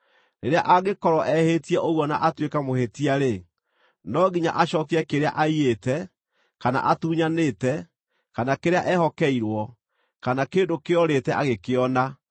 rĩrĩa angĩkorwo ehĩtie ũguo na atuĩke mũhĩtia-rĩ, no nginya acookie kĩrĩa aiyĩte, kana atunyanĩte, kana kĩrĩa ehokeirwo, kana kĩndũ kĩorĩte agĩkĩona,